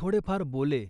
थोडेफार बोले,